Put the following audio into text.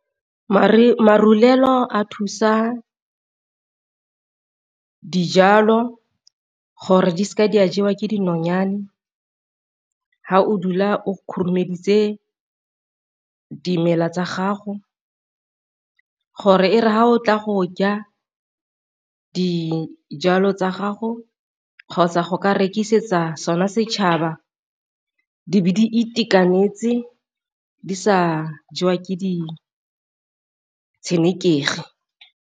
Marulelo a thusa dijalo gore di seke di a jewa ke dinonyane, fa o dula o khurumeditse dimela tsa gago gore e fa o tla go ja dijalo tsa gago kgotsa go ka rekisetsa sona setšhaba di be di itekanetse di sa jewa ke di tshenekegi.